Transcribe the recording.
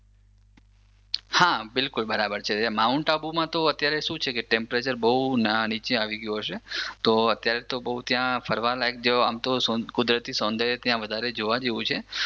હા બિલકુલ બરાબર છે. માઉન્ટ આબુમાં તો અત્યારે શું છે ટેમ્પરેચર બહુ નીચે આવી ગયું હશે. તો અત્યારે તો બહુ ત્યાં ફરવા લાયક આમતો કુદરતી સૌદર્ય ત્યાં બહુ જોવા જેવુ છે